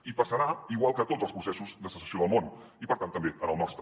i passarà igual que en tots els processos de secessió del món i per tant també en el nostre